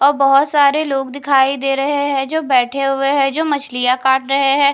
और बहुत सारे लोग दिखाई दे रहे है जो बैठे हुए है जो मछलियां काट रहे है।